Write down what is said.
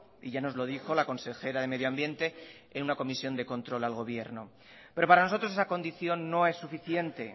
y ya nos lo dijo la consejera de medio ambiente en una comisión de control al gobierno pero para nosotros esa condición no es suficiente